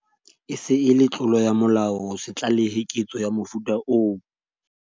E se e le tlolo ya molao ho se tlalehe ketso ya mofuta oo.